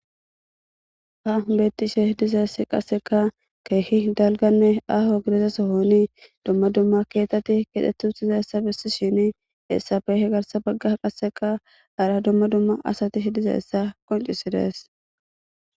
Hassan beettishe dizaysi qasseka keehi aahonne dalga gidida sohon dumma dumma keethati keexetti uttidaysa bessishin hessappe garssan hani baggan qasseka hara dumma dumma asati de7izaysa qoncisides.